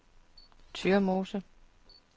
Tyrmose